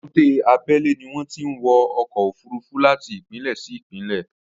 Èbúté abẹ́lé ni wọn ti ń ọkọ̀ òfurufú láti ìpínlẹ̀ sí ìpínlẹ̀